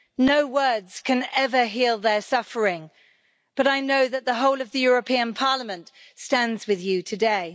No words can ever heal their suffering, but I know that the whole of the European Parliament stands with you today.